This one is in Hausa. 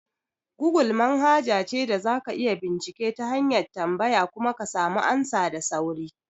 Gogul manhaja ce da za ka iya bincike ta hanyar tambaya kuma ka samu amsa da sauri.